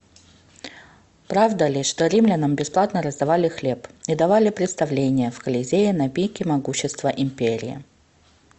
правда ли что римлянам бесплатно раздавали хлеб и давали представления в колизее на пике могущества империи